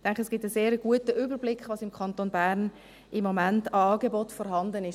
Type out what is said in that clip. Ich denke, es gibt einen sehr guten Überblick, was im Kanton Bern im Moment an Angeboten vorhanden ist.